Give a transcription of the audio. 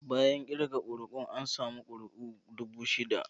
Bayan kirga kuri'un, an samu kusan kuri'u dubu shida.